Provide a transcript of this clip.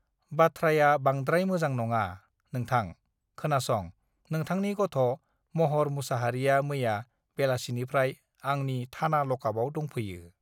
बाथ्राया बांद्राय मोजां नाङा नोंथां खोनासं नोंथांनि गथः महर मुसाहारिया मैया बेलासिनिफ्राय आंनि थाना लकआपआव दंफैयो